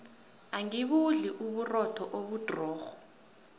angibudli uburotho obudrorho